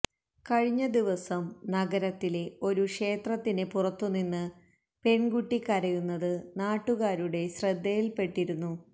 കഴിഞ്ഞദിവസം നഗരത്തിലെ ഒരു ക്ഷേത്രത്തിന് പുറത്തുനിന്ന് പെണ്കുട്ടി കരയുന്നത് നാട്ടുകാരുടെ ശ്രദ്ധയില്പ്പെട്ടിരുന്നു